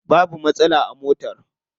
Babu matsala a motar.